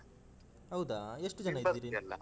ಹೌದಾ ಎಷ್ಟು ಜನ ಇದ್ದೀರಿ? .